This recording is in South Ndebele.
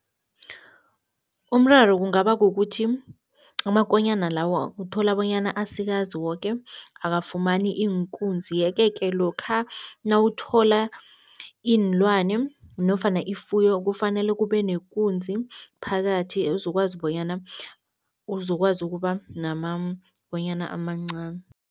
Umraro kungaba kukuthi amakonyana lawo uthola bonyana asikazi woke akafumani iinkunzi yeke-ke lokha nawuthola iinlwane nofana ifuyo kufanele kube nekunzi phakathi ezokwazi bonyana uzokwazi ukuba namakonyana amancani.